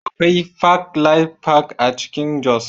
Akwai Park Life Park a Jos